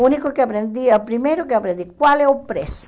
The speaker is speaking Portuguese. O único que aprendi, o primeiro que aprendi, qual é o preço?